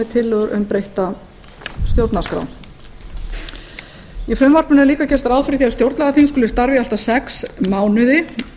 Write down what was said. tillögu um breytta stjórnarskrá í frumvarpinu er líka gert ráð fyrir því að stjórnlagaþing skuli starfa í allt að sex mánuði